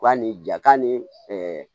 Ka ni ja ka ni